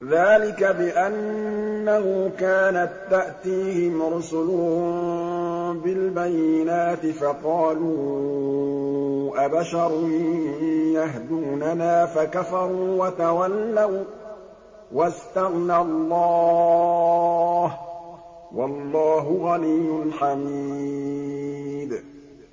ذَٰلِكَ بِأَنَّهُ كَانَت تَّأْتِيهِمْ رُسُلُهُم بِالْبَيِّنَاتِ فَقَالُوا أَبَشَرٌ يَهْدُونَنَا فَكَفَرُوا وَتَوَلَّوا ۚ وَّاسْتَغْنَى اللَّهُ ۚ وَاللَّهُ غَنِيٌّ حَمِيدٌ